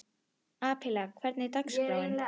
Abela, hvernig er dagskráin?